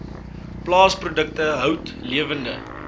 plaasprodukte hout lewende